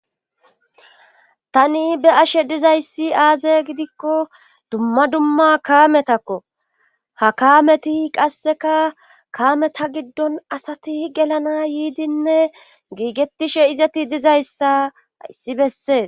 tani be ashe dizayssi aaze gidikko dumma dumma kaametakko ha kaameti qasseka kaame ta giddon asati gelana yiidinne giigetishe izati dizayssa issi bessees